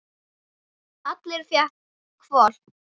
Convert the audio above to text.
Alli fékk hvolp.